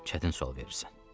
Çətin sual verirsən.